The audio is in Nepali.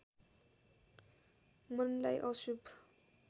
मनलाई अशुभ